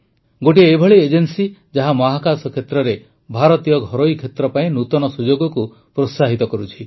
ଗୋଟିଏ ଏଭଳି ଏଜେନ୍ସି ଯାହା ମହାକାଶ କ୍ଷେତ୍ରରେ ଭାରତୀୟ ଘରୋଇ କ୍ଷେତ୍ର ପାଇଁ ନୂତନ ସୁଯୋଗକୁ ପ୍ରୋତ୍ସାହିତ କରୁଛି